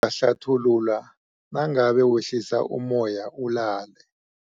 Ngizakuhlathulula nangabe wehlisa ummoya ulalele.